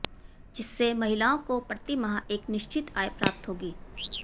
जिससे महिलाओं को प्रति माह एक निश्चित आय प्राप्त होगी